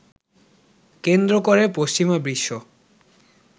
কেন্দ্র করে পশ্চিমা বিশ্ব